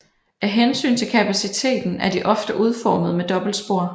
Af hensyn til kapaciteten er de ofte udformet med dobbeltspor